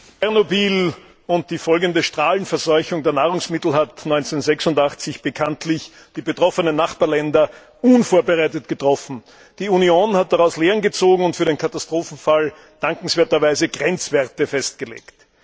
Herr Präsident! Tschernobyl und die folgende Strahlenverseuchung der Nahrungsmittel hat 1986 bekanntlich die betroffenen Nachbarländer unvorbereitet getroffen. Die Union hat daraus Lehren gezogen und für den Katastrophenfall dankenswerterweise Grenzwerte festgelegt.